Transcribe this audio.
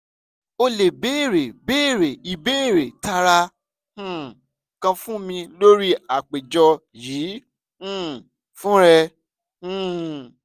o le beere beere ibeere taara um kan fun mi lori apejọ yii um fun rẹ um